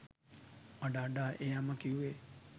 අඬ අඬා ඒ අම්මා කිව්වේ